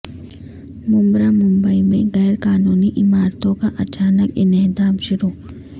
ممبرا ممبئی میں غیر قانونی عمارتوں کا اچانک انہدام شروع